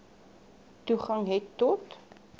toegang het tot